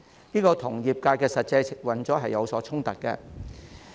這與業界的實際運作是有所衝突的。